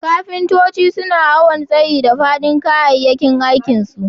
Kafintoci suna awon tsayi da fadin kayakin aikin su.